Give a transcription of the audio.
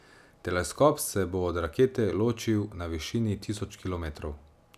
Teleskop se bo od rakete ločil na višini tisoč kilometrov.